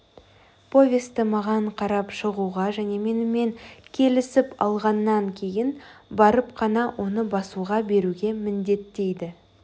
повесті маған қарап шығуға және менімен келісіп алғаннан кейін барып қана оны басуға беруге міндеттейді